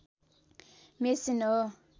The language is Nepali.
मेसिन हो